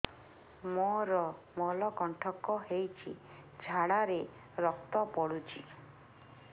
ମୋରୋ ମଳକଣ୍ଟକ ହେଇଚି ଝାଡ଼ାରେ ରକ୍ତ ପଡୁଛି